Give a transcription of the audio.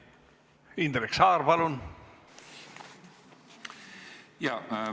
Indrek Saar, palun!